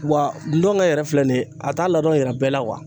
Wa ndɔnkɛ yɛrɛ filɛ nin ye, a t'a ladɔn yira bɛɛ la